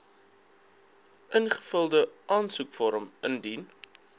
ingevulde aansoekvorm indien